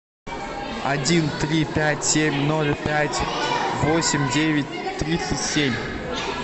один три пять семь ноль пять восемь девять тридцать семь